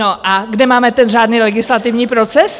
No a kde máme ten řádný legislativní proces?